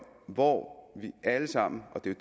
hvor vi alle sammen og det er